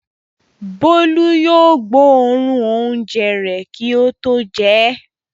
Bólú yóò gbóòórùn oúnjẹ rẹ̀ kí ó tó jẹ ẹ́.